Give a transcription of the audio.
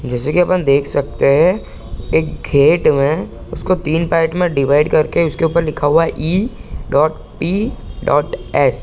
जैसे की अपन देख सकते हैं एक गेट में उसको तीन पार्ट में डिवाइड करके उसके ऊपर लिखा हुआ है E dot P dot S